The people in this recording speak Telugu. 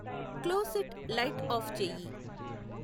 క్లోసెట్ లైట్ ఆఫ్ చెయ్యి